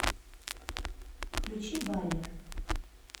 включи баллер